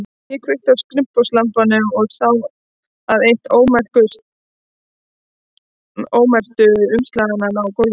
Ég kveikti á skrifborðslampanum og sá að eitt ómerktu umslaganna lá á gólfinu.